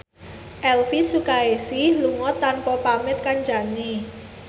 Elvi Sukaesih lunga tanpa pamit kancane